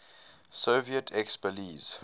soviet expellees